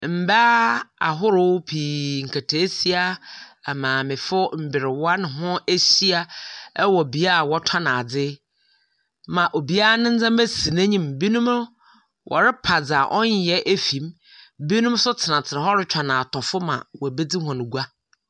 Mbaa ahorow pii, nkataasia, amaamefo, mberwa na wɔahyia wɔ bea wɔtɔn adze ma obiara ne ndzɛmba si n’enyim, binom wɔrepa dza ɔnnyɛ efi mu, binom so tsenatsena hɔ rotweɔn atɔfo ma woebedzi hɔn gua.